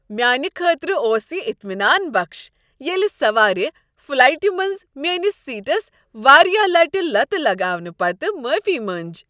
میانہ خٲطرٕ اوس یہ اطمینان بخش ییٚلہ سوارِ فلائٹِہ منز میانس سیٹس واریاہ لٹِہ لتہٕ لگاونہٕ پتہٕ معافی مٕنج۔